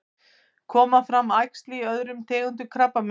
koma fram æxli í öllum tegundum krabbameins